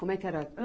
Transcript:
Como é que era?